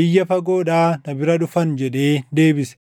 biyya fagoodhaa na bira dhufan” jedhee deebise.